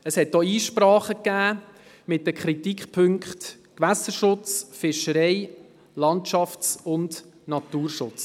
Es gab auch Einsprachen mit den Kritikpunkten Gewässerschutz, Fischerei, Landschafts- und Naturschutz.